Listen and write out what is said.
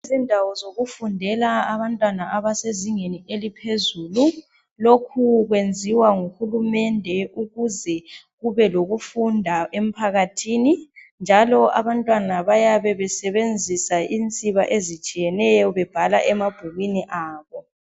Indawo zokufundela abantwana abasezingeni eliphezulu lokhu kwenziwa nguhulumende ukuze kube lokufunda emphakathini njalo abantwana bayabe besebenzisa insiba ezitshiyeneyo bebhala emabhukwini abo.